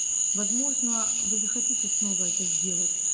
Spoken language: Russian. возможно вы захотите снова это сделать